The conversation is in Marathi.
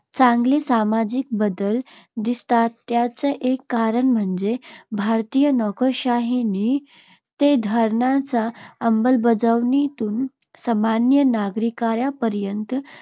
चांगले सामाजिक बदल दिसतात त्याचे एक कारण म्हणजे भारतीय नोकरशाहीने धोरणाच्या अंमलबजावणीतून सामान्य नागरिकांपर्यंत